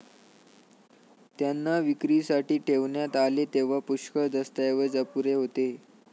त्यांना विक्रीसाठी ठेवण्यात आले तेव्हा पुष्कळ दस्तऐवज अपुरे होते.